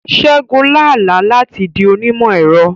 Ṣẹ́gun lá àlá láti di onímọ̀-ẹ̀rọ.